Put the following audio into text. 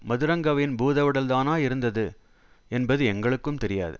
மதுரங்கவின் பூதவுடல் தானா இருந்தது என்பது எங்களுக்கும் தெரியாது